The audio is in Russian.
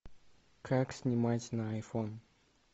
как снимать на айфон